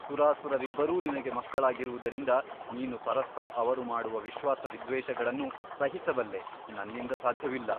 ಸುರಾಸುರರಿಬ್ಬರೂ ನಿನಗೆ ಮಕ್ಕಳಾಗಿರುವುದರಿಂದ ನೀನು ಪರಸ್ಪರ ಅವರು ಮಾಡುವ ವಿಶ್ವಾಸ ವಿದ್ವೇಷಗಳನ್ನು ಸಹಿಸಬಲ್ಲೆ ನನ್ನಿಂದ ಸಾಧ್ಯವಿಲ್ಲ.